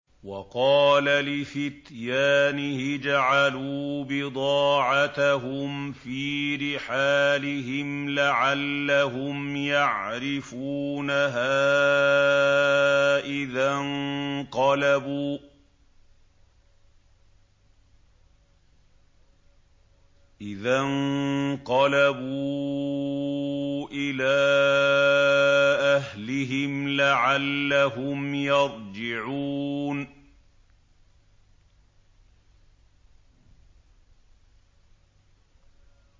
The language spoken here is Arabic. وَقَالَ لِفِتْيَانِهِ اجْعَلُوا بِضَاعَتَهُمْ فِي رِحَالِهِمْ لَعَلَّهُمْ يَعْرِفُونَهَا إِذَا انقَلَبُوا إِلَىٰ أَهْلِهِمْ لَعَلَّهُمْ يَرْجِعُونَ